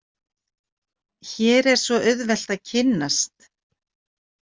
Hér er svo auðvelt að kynnast.